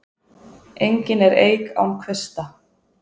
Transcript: Engin er eik án kvista.